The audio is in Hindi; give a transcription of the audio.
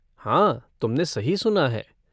हाँ तुमने सही सुना है।